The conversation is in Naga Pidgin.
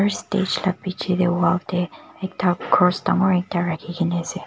First stage la bechi dae wall dae ekta cross dangor ekta rakhikena ase.